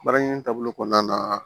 Baara in taabolo kɔnɔna na